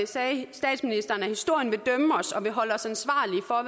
sagde statsministeren at historien vil og holde os ansvarlige for